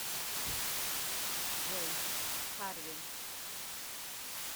джой харви